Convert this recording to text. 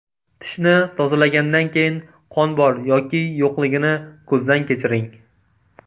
Tishni tozalagandan keyin qon bor yoki yo‘qligini ko‘zdan kechiring.